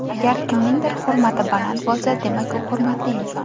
Agar kimningdir hurmati baland bo‘lsa, demak u hurmatli inson.